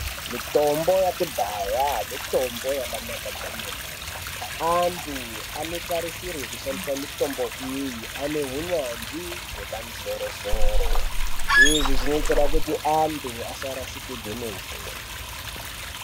Mitombo yekudhaya mitombo yakanaka kwemene anthu anotarisirwe kushandisa mitombo iyi ane unyanzvi hwepamusoro-soro, izvi zvinoitirwe kuti anthu asarasikirwe ngeupenyu.